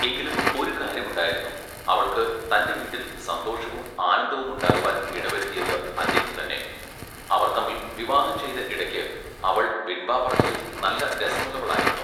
എങ്കിലും ഒരു കാര്യം ഉണ്ടായിരുന്നു. അവൾക്ക് തന്റെ വീട്ടിൽ സന്തോഷവും ആനന്ദവും ഉണ്ടാകുവാൻ ഇടവരുത്തിയത് അദ്ദേഹം തന്നെ, അവർ തമ്മിൽ വിവാഹം ചെയ്ത ഇടയ്ക്ക് അവൾ വിൺവാ പറച്ചിലിൽ നല്ല രസമുള്ളവളായിരുന്നു.